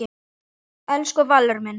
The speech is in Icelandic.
Elsku Valur minn.